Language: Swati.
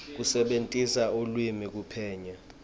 kusebentisa lulwimi kuphenya